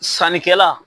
Sannikɛla